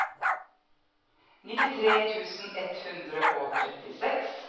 nittitre tusen ett hundre og trettiseks